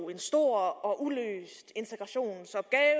en stor og uløst integrationsopgave er